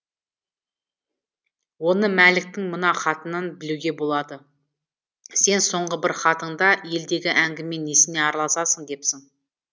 оны мәліктің мына хатынан білуге болады сен соңғы бір хатыңда елдегі әңгіме несіне араласасың депсің